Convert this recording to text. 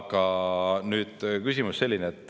Aga nüüd küsimuse juurde.